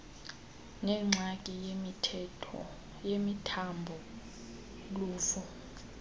nengxaki yemithambo luvo